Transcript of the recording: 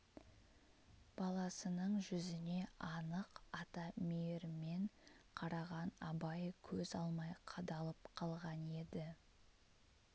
баласының жүзіне анық ата мейірімен қараған абай көз алмай қадалып қалған еді